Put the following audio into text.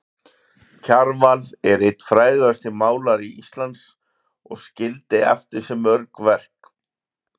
Kjarval er einn frægasti málari Íslands og skildi eftir sig mörg verk.